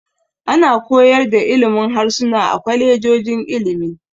Ana koyar da ilimin harsuna a kwalejojin ilimi.